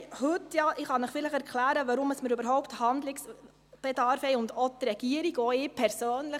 Ich kann Ihnen vielleicht erklären, warum wir – auch die Regierung und auch ich persönlich;